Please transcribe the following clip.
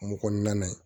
Kungo kɔnɔna ye